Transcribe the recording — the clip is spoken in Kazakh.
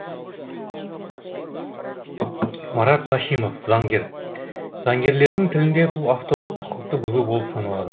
марат башимов заңгер заңгерлердің тілінде бұл авторлық құқықты бұзу болып саналады